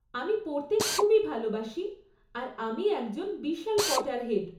আমি পড়তে খুবই ভালবাসি আর আমি একজন বিশাল পটারহেড।